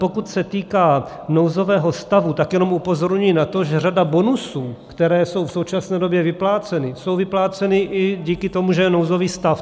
Pokud se týká nouzového stavu, tak jenom upozorňuji na to, že řada bonusů, které jsou v současné době vypláceny, je vyplácena i díky tomu, že je nouzový stav.